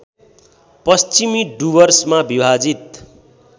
पश्चिमी डुवर्समा विभाजित